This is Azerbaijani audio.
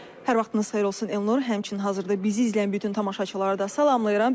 Hər vaxtınız xeyir olsun Elnur, həmçinin hazırda bizi izləyən bütün tamaşaçılara da salamlayıram.